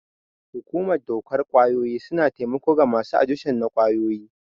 Hukumar dokar ƙwayoyi suna taimako ga masu adikshon na ƙwayoyi.